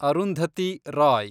Arundhati Roy